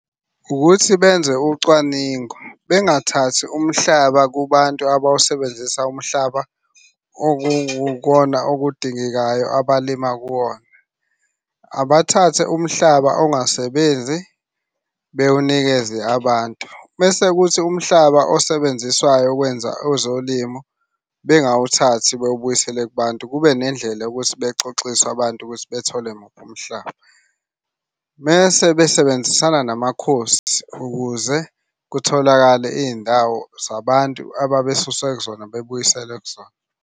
Ukuthi benze ucwaningo, bengathathi umhlaba kubantu abawusebenzisa umhlaba okukukona okudingekayo abalima kuwona. Abathathe umhlaba ongasebenzi bewunikeze abantu, bese kuthi umhlaba osebenziswayo ukwenza ezolimo bengawuthathi bewubuyisele kubantu. Kube nendlela yokuthi bexoxiswe abantu ukuthi bethole muphi umhlaba. Mese besebenzisana namakhosi ukuze kutholakale iy'ndawo zabantu ababesuswe kuzona bebuyiselwe kuzona.